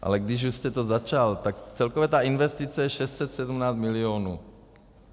Ale když už jste to začal, tak celkově ta investice je 617 milionů.